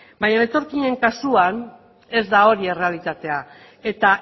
baina etorkinen kasuan ez da hori errealitatea eta